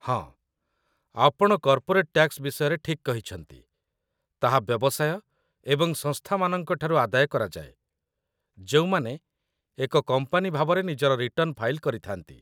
ହଁ, ଆପଣ corporate tax ବିଷୟରେ ଠିକ୍ କହିଛନ୍ତି, ତାହା ବ୍ୟବସାୟ ଏବଂ ସଂସ୍ଥାମାନଙ୍କ ଠାରୁ ଆଦାୟ କରାଯାଏ, ଯେଉଁମାନେ ଏକ କମ୍ପାନୀ ଭାବରେ ନିଜର ରିଟର୍ଣ୍ଣ ଫାଇଲ୍ କରିଥାନ୍ତି